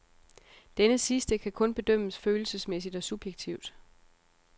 Denne sidste kan kun bedømmes følelsesmæssigt og subjektivt.